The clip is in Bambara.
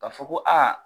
Ka fɔ ko aa